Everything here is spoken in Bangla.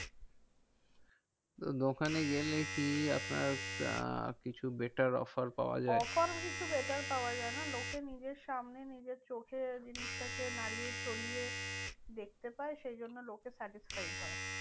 তো দোকানে গেলে কি আপনার আহ কিছু better offer পাওয়া যায়? offer কিছু better পাওয়া যায় না। লোকে নিজের সামনে নিজের চোখে জিনিসটাকে নাড়িয়ে চড়িয়ে দেখতে পায়, সেইজন্য লোকে satisfied হয়।